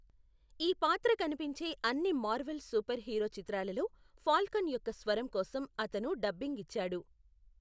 ఈ పాత్ర కనిపించే అన్ని మార్వెల్ సూపర్ హీరో చిత్రాలలో ఫాల్కన్ యొక్క స్వరం కోసం అతను డబ్బింగ్ ఇచ్చాడు.